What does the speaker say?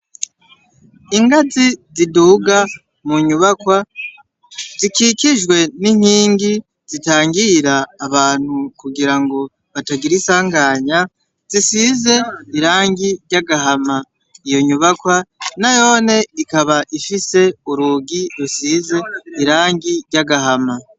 Ingazi ziduga mu nyubakwa, zikikijwe n’inkingi zitangira abantu kugira ngo batagira insanganya, zisize irangi ry’agahama iyo nyubakwa nayone ikaba ifise urugi rusize irangi ry’agahama.